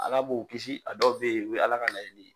Ala b'o kisi a dɔw fɛ yen o ye ala ka laɲini ye.